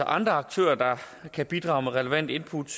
andre aktører der kan bidrage med relevante input